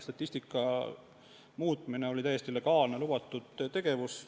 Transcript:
Statistika muutmine oli täiesti legaalne, lubatud tegevus.